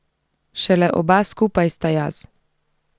Šele oba skupaj sta jaz.